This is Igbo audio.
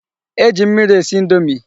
E ji mmiri esi indomi.